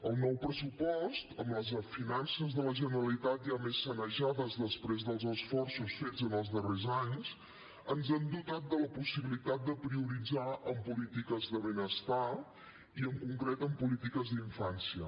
el nou pressupost amb les finances de la generalitat ja més sanejades després dels esforços fets en els darrers anys ens ha dotat de la possibilitat de prioritzar en polítiques de benestar i en concret en polítiques d’infància